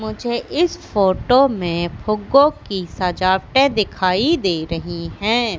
मुझे इस फोटो में फुग्गो की सजावटे दिखाई दे रही है।